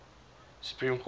supreme court ruled